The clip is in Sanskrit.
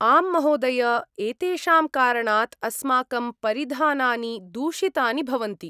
आम्महोदय! एतेषां कारणात् अस्माकं परिधानानि दूषितानि भवन्ति।